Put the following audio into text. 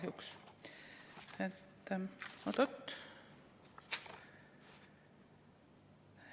Oot-oot!